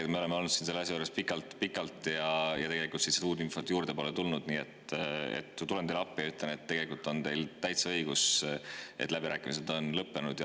Kuna me oleme olnud siin selle asja juures pikalt-pikalt ja tegelikult uut infot juurde pole tulnud, tulen teile appi ja ütlen, et tegelikult on teil täitsa õigus, et läbirääkimised on lõppenud.